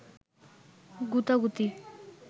গুতাগুতি